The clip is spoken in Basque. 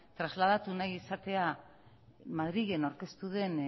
trasladatu nahi izatea madrilen aurkeztu den